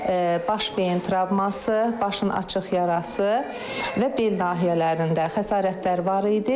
Baş beyin travması, başın açıq yarası və bel nahiyələrində xəsarətlər var idi.